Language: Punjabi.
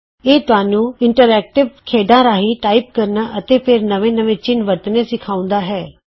ਇਹ ਤੁਹਾਨੂੰ ਇੰਟਰਐਕ੍ਟਿਵ ਖੇਡਾਂ ਰਾਹੀਂ ਟਾਈਪ ਕਰਨਾ ਅਤੇ ਫੇਰ ਨਵੇਂ ਨਵੇਂ ਚਿੰਨ੍ਹ ਵਰਤਣੇ ਸਿਖਾਉਂਦਾ ਹੈ